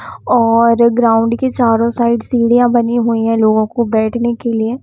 और ग्राउंड के चारों साइड सीढ़ियाँ बनी हुई हैं लोगों को बैठने के लिए।